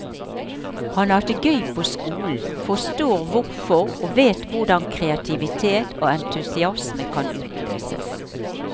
Han har hatt det gøy på skolen, forstår hvorfor og vet hvordan kreativitet og entusiasme kan utløses.